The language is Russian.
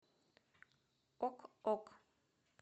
ок ок